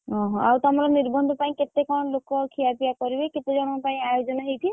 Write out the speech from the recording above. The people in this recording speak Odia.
ଓହୋଃ ଆଉ ତମର ନିର୍ବନ୍ଧ ପାଇଁ କେତେ କଣ ଲୋକ ଖିୟାପିୟା କରିବେ, କେତେ ଜଣଙ୍କ ପାଇଁ ଆୟୋଜନ ହେଇଛି?